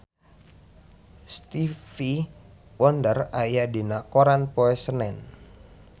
Stevie Wonder aya dina koran poe Senen